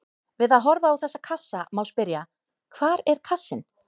Við að horfa á þessa kassa má spyrja: hvar er kassinn?